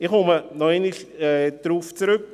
Ich komme nochmals darauf zurück: